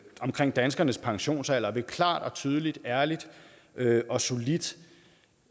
omkring danskernes pensionsalder ved klart tydeligt ærligt og solidt